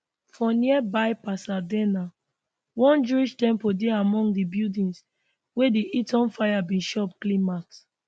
for nearby pasadena one jewish temple dey among di buildings wey di eaton fire bin chop clean mouth